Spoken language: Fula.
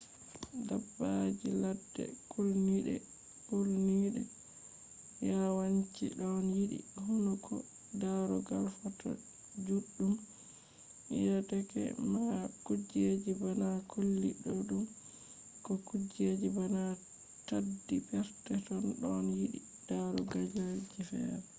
dabbaji ladde kulniɗe yawanci ɗon yiɗi hunduko darugal foto juɗum deyeke ma kujeji bana colli ɗuɗɗum ko kujeji bana taddi perpeton ɗon yiɗi darugalji feere